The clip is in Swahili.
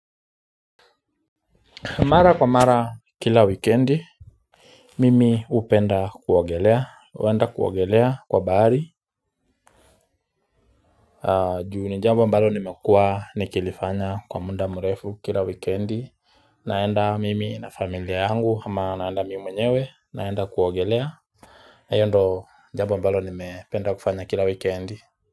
Mara kwa mara kila wikendi. Mimi huenda kuogelea kwa bahari. Juu ni jambo mbalo nimekuwa nikilifanya kwa muda mrefu kila wikendi. Naenda mimi na familia yangu ama naenda mimi mwenyewe, naenda kuogelea. Hilo ndilo jambo mbalo nimependa kufanya kila wikendi.